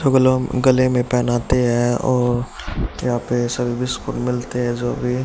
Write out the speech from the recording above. गले में पहनाते हैं और यहां पे सर्विस खुद मिलते हैं जो भी--